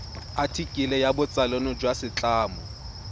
athikele ya botsalano jwa setlamo